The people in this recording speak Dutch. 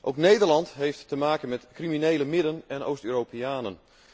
Ook Nederland heeft te maken met criminele Midden en Oost Europeanen.